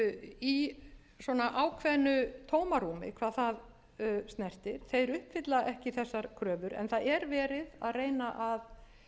það snertir þeir uppfylla ekki þessar kröfur en það er verið að reyna að